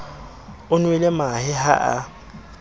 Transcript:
o nwele mahe ha a